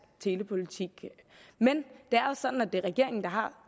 telepolitik men det er også sådan at det er regeringen der har